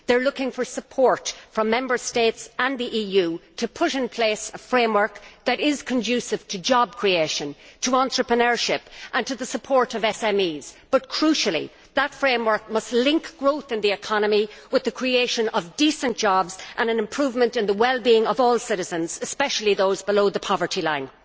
They are looking for support from Member States and they are looking to the EU to put in place a framework that is conducive to job creation, to entrepreneurship and to the support of SMEs, but crucially, that framework must link growth in the economy with the creation of decent jobs and an improvement in the well being of all citizens, especially those below the poverty line.